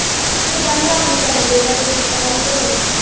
ਇਦਾ ਨੀ ਰੱਬ ਨੂੰ ਕਰਨਾ ਚਾਹੀਦਾ ਜੇ ਦਿੱਤਾ ਸੀ ਤੇ